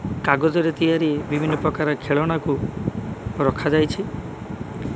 କାଗଜରେ ତିଆରି ବିଭିନ୍ନ ପ୍ରକାର ଖେଳନାକୁ ରଖା ଯାଇଛି।